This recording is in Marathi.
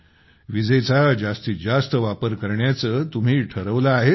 विजेचा जास्तीत जास्त वापर करण्याचे तुम्ही ठरवले आहे तर